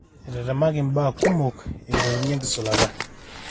etetemaki impaa kumok eing'oruni enkisulata.